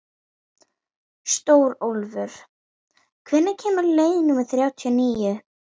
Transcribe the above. Stórólfur, hvenær kemur leið númer þrjátíu og níu?